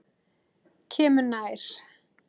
Kemur nær.